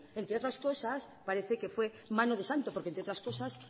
parece que fue mano de santo porque entre otras cosas